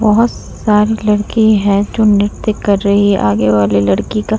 बहोत सारी लड़की है जो नृत्य कर रही है आगे वाली लड़की का --